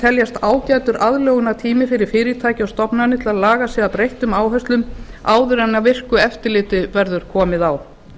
teljast ágætur aðlögunartími fyrir fyrirtæki og stofnanir til að laga sig að breyttum áherslum áður en virku eftirliti verður komið á